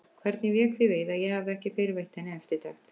Hvernig vék því við að ég hafði ekki fyrr veitt henni eftirtekt?